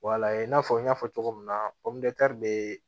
Walahi i n'a fɔ n y'a fɔ cogo min na bɛ